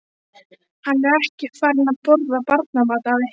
Hann er ekki farinn að borða barnamat, afi.